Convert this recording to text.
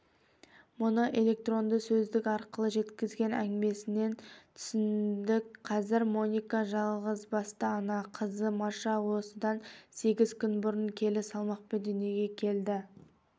мұны электронды сөздік арқылы жеткізген әңгімесінен түсіндік қазір моника жалғызбасты ана қызы маша осыдан сегіз күн бұрын келі салмақпен дүниеге келді